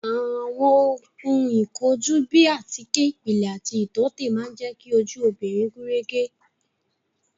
Àwọn ohun ìkojú bíi àtíkè ìpìlẹ̀ àti ìtọ́tè máa jẹ ki ojú obìnrin gúnrégé